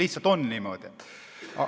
Lihtsalt on niimoodi.